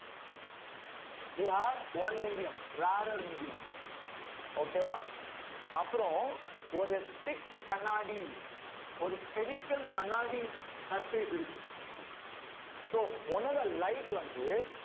you have one medium rarer medium okay வா அப்புறம் ஒரு strict கண்ணாடி ஒரு spherical கண்ணாடி surface இருக்கு so உன்னோட light வந்து